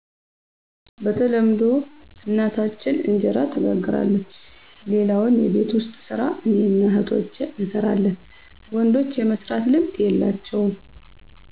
በተለምዶ እናታችን እንጀራ ትጋግራለች ሌላውን የቤት ውስጥ ሰራ እኔና እህቶቸ እንሰራለን ወንዶች የመስራት ልምድ የላቸውም